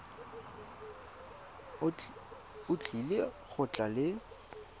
o tlile go tla le